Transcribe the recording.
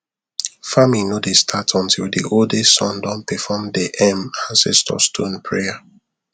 farming no dey start until the oldest son don perform the um ancestor stone prayer